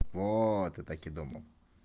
вот и так и думал